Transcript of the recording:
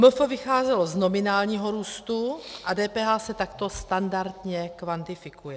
MF vycházelo z nominálního růstu a DPH se takto standardně kvantifikuje.